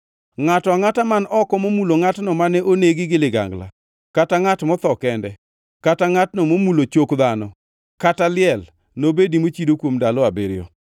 “Ngʼato angʼata man oko momulo ngʼatno mane onegi gi ligangla kata ngʼat motho kende, kata ngʼatno momulo chok dhano, kata liel, nobedi mochido kuom ndalo abiriyo.